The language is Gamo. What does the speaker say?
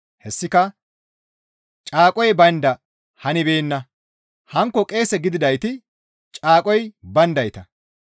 Hessika caaqoy baynda hanibeenna; hankko qeese gididayti caaqoy bayndayta.